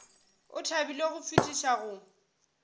o thabile go fetiša go